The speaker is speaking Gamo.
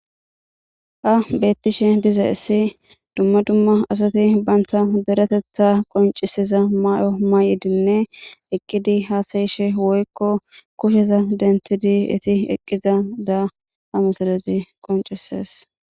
Ha bettishe dizayssi dumma dumma asati banta deretetha qoncisiza mayo ma7idinne eqqidi haasayishe woykko kusheza dentidi eti eqqiza da ha missilezi qoncises.